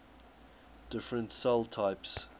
different cell types